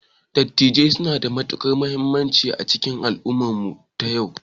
Dattijai suna da matukar muhimmanci a cikin al'ummar mu ta yau